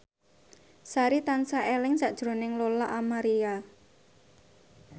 Sari tansah eling sakjroning Lola Amaria